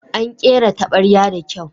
An kera tabarya da kyau.